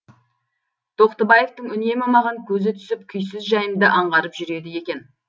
тоқтыбаевтың үнемі маған көзі түсіп күйсіз жайымды аңғарып жүреді екен